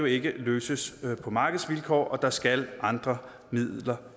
ikke kan løses på markedsvilkår der skal andre midler